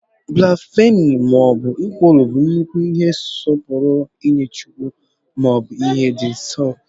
Blasphemí maọbu nkwulu bụ nnukwu ihe nsọpụrụ nye chukwu, maọbu ihe dị nso.